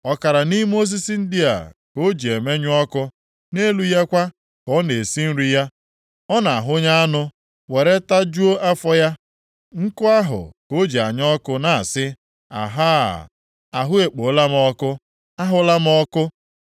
Ọkara nʼime osisi ndị a ka o ji emenwu ọkụ; nʼelu ya kwa ka ọ na-esi nri ya, ọ na-ahụnye anụ, were tajuo afọ ya. Nkụ ahụ ka o ji anya ọkụ na-asị, “Ahaa, ahụ ekpola m ọkụ; ahụla m ọkụ.”